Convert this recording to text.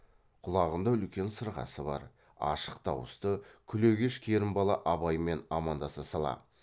құлағында үлкен сырғасы бар ашық дауысты күлегеш керімбала абаймен амандаса сала